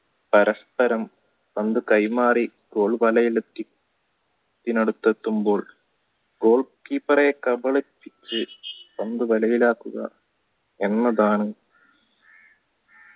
പരസ്പ്പരം പന്തു കൈമാറി goal വലയി അടുത്തെത്തുമ്പോൾ goal വലയിലാക്കുക എന്നതാണ്